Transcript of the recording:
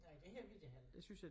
Nej det har vi da heller ikke